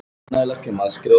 Hvað gerið þér?